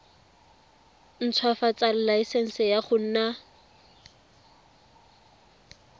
ntshwafatsa laesense ya go nna